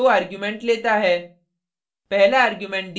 split function दो argument लेता है